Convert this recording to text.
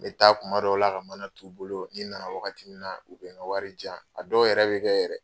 N be taa kuma dɔw la ka mana t'u bolo, ni n nana wagati min na, u be ŋa wari diyan. A dɔw yɛrɛ be kɛ yɛrɛ